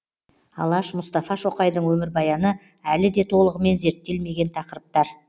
алаш мұстафа шоқайдың өмірбаяны әлі де толығымен зерттелмеген тақырыптар